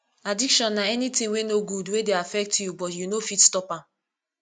addiction na anything wey no good wey dey affect you but you no fit stop am